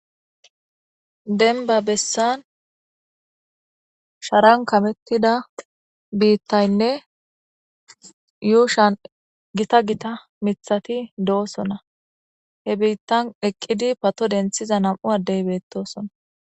Demibba bessa shara karethixidane yushani gitta gitta mithati dosona he bittani eqidi namu'u adeyi betesi